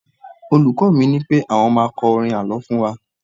olùkó mi nipé àwọn ma kọrin àlọ fún wa